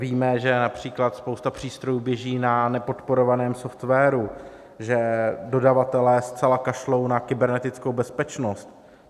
Víme, že například spousta přístrojů běží na nepodporovaném softwaru, že dodavatelé zcela kašlou na kybernetickou bezpečnost.